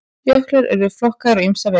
Jöklar eru flokkaðir á ýmsa vegu.